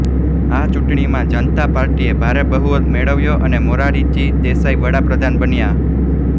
આ ચૂંટણીમાં જનતા પાર્ટીએ ભારે બહુમત મેળવ્યો અને મોરારજી દેસાઈ વડાપ્રધાન બન્યા